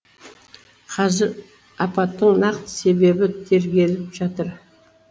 қазір апаттың нақты себебі тергеліп жатыр